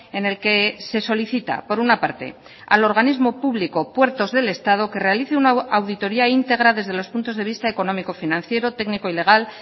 en el que se solicita por una parte al organismo público puertos del estado que realice una auditoría íntegra desde los puntos de vista económico financiero técnico y legal